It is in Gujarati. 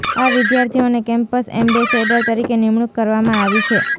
આ વિદ્યાર્થીઓને કેમ્પસ એમ્બેસેડર તરીકે નિમણૂક કરવામાં આવી છે